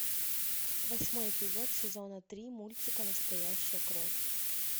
восьмой эпизод сезона три мультика настоящая кровь